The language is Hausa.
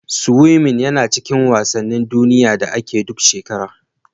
Siwimin yana cikin wasanin duniya da ake duk shekara.